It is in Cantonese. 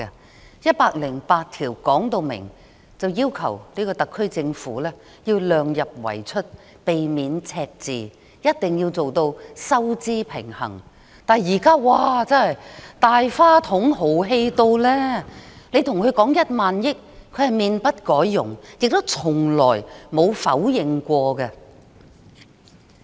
《基本法》第一百零八條要求特區政府量入為出，避免赤字，必須做到收支平衡，但現在卻"大花筒"，十分豪氣，跟她說1萬億元，她也面不改容，亦從不否認。